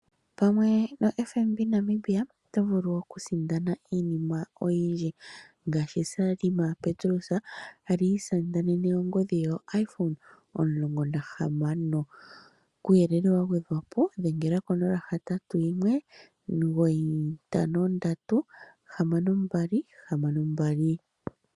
Pamwe no FNB Namibia oto vulu okusindana iinima oyindji ngaashi Selma yaPetrus ngoka kwali isindanene ongodhi ye yoIphone 16 , kuuyelele wa gwedhwapo dhengela konomola yo 0819536262.